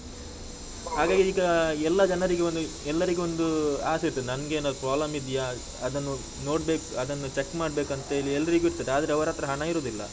ಈಗ ಎಲ್ಲಾ ಜನರಿಗೆ ಒಂದು, ಎಲ್ಲರಿಗೊಂದು ಆಸೆ ಇರ್ತದೆ, ನಂಗೆ ಏನಾದ್ರು problem ಇದ್ಯಾ ಅದನ್ನು ನೋಡ್ಬೇಕು, ಅದನ್ನು check ಮಾಡ್ಬೇಕಂತ ಹೇಳಿ ಎಲ್ಲರಿಗೂ ಇರ್ತದೆ, ಆದ್ರೆ ಅವರತ್ರ ಹಣ ಇರುದಿಲ್ಲ.